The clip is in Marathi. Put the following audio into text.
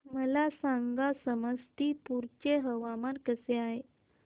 मला सांगा समस्तीपुर चे हवामान कसे आहे